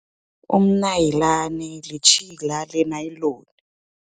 Umnayilani, litjhila lenayiloni.